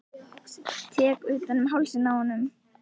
Tek utan um hálsinn á honum.